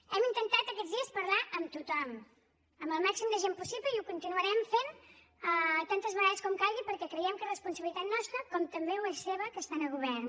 hem intentat aquests dies parlar amb tothom amb el màxim de gent possible i ho continuarem fent tantes vegades com calgui perquè creiem que és responsabilitat nostra com també ho és seva que estan a govern